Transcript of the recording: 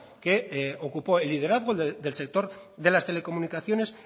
que ocupó el liderazgo del sector de las telecomunicaciones